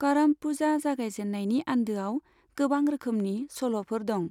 करम पूजा जागायजेननायनि आन्दोआव गोबां रोखोमनि सल'फोर दं।